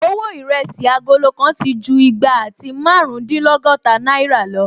Owó Ìrẹsí agolo kan ti ju igba àti márùndínlọ́gọ́ta náìrà lọ